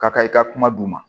Ka i ka kuma d'u ma